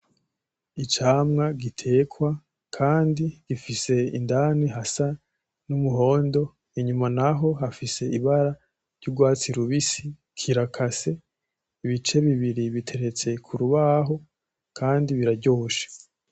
Icamwa gitekwa kandi gifise indani hasa n'umuhondo, inyuma naho hafise ibara ry'urwatsi rubisi, kirakase, ibice bibiri biteretse ku rubaho kandi biraryoshe.